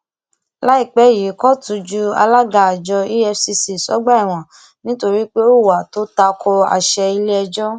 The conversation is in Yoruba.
àwa la fi wọn síbẹ wọn síbẹ àwa náà la máa rọpò wọn á máa dìbò a máa wọlé